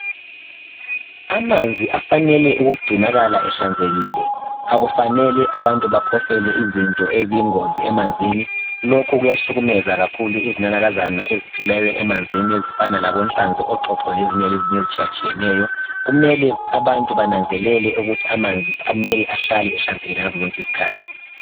Amanzi afanele ukugcinakala ehlanzekile akufanele abantu baphosele izinto eziyingozi emanzini lokhu kuyahlukumeza izinanakaza eziphila emanzini ezifana lenhlanzi, oxoxo lezinye ezitshiya tshiyeneyo. Kumele abantu bananzelele ukuthi amanzi kumele ahlale ehlanzekile ngazo zonke izikhathi.